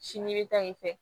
Sini mi taa yen fɛ